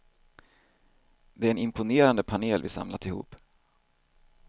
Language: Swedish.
Det är en imponerande panel vi samlat ihop.